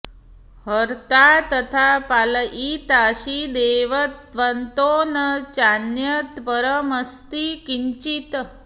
हर्ता तथा पालयितासि देव त्वत्तो न चान्यत्परमस्ति किञ्चित्